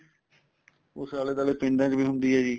ਉਸ ਆਲੇ ਦੁਆਲੇ ਪਿੰਡਾ ਚ ਵੀ ਹੁੰਦੀ ਏ ਜੀ